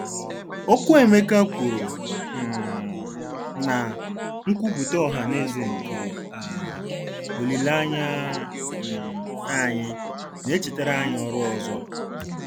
Okwu Emeka kwuru um na " nkwuputa ohaneze nke um olileanya um anyị " na-echetara anyị ọrụ ọzọ.